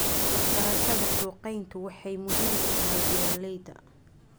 Waxbarashada suuqgeyntu waxay muhiim u tahay beeralayda.